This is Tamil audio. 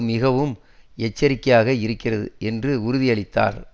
மிகவும் எச்சரிக்கையாக இருக்கிறது என்றும் உறுதியளித்தார்